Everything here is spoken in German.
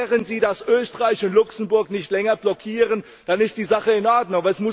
Klären Sie, dass Österreich und Luxemburg nicht länger blockieren, dann ist die Sache in Ordnung.